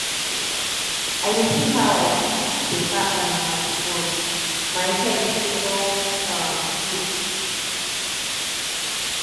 i dey tink how i fit better um my tomorrow my head head don um full